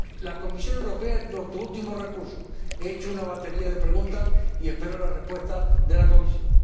La Comisión Europea es nuestro último recurso. He hecho una batería de preguntas y espero las respuestas de la Comisión.